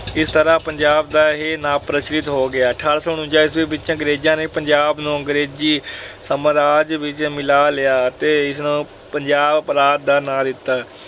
ਇਸ ਤਰ੍ਹਾਂ ਪੰਜਾਬ ਦਾ ਇਹ ਨਾਂ ਪ੍ਰਚਲਿਤ ਹੋ ਗਿਆ। ਅਠਾਰਾਂ ਸੌ ਉਨੰਜਾ ਈਸਵੀ ਵਿੱਚ ਪੰਜਾਬ ਨੂੰ ਅੰਗਰੇਜੀ ਸਾਮਰਾਜ ਵਿੱਚ ਮਿਲਾ ਲਿਆ ਅਤੇ ਇਸ ਪੰਜਾਬ ਪ੍ਰਾਂਤ ਦਾ ਨਾਂ ਦਿੱਤਾ।